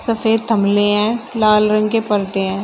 सफेद थमले हैं लाल रंग के पर्दे हैं।